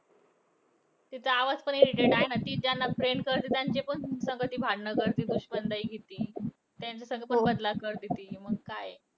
तिचा आवाज पण irritate आहे ना. ती ज्यांना friend करते त्यांच्या पण संग ती भांडण करती. दुश्मन like आहे ती. त्यांच्यासंग बदला करती ती मग काय हे